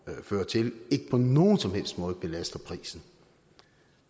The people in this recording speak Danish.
fører til ikke på nogen som helst måde belaster prisen